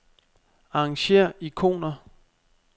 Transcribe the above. Arrangér ikoner.